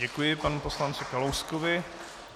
Děkuji panu poslanci Kalouskovi.